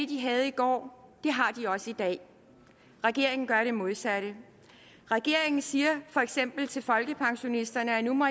de havde i går har de også i dag regeringen gør det modsatte regeringen siger for eksempel til folkepensionisterne at nu må